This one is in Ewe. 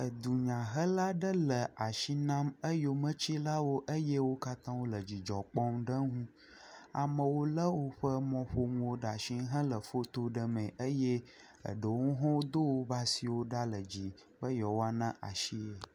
Edunyahela asi nam eyometsilawo eye wo katã wòle dzidzɔ kpɔm le enu. Amewo le woƒe mɔƒonu ɖe asi hele foto ɖem mee eye eɖewo hã Do woƒe asiwò ɖa be yewoa na asie.